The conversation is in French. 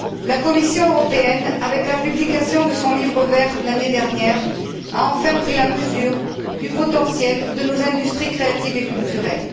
La Commission européenne, avec la publication de son livre vert l'année dernière, a enfin pris la mesure du potentiel de nos industries créatives et culturelles.